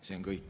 See on kõik.